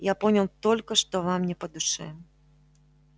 я понял только что вам не по душе